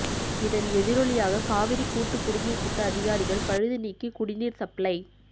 இதன் எதிரொலியாக காவிரி கூட்டு குடிநீர் திட்ட அதிகாரிகள் பழுது நீக்கி குடிநீர் சப்ளை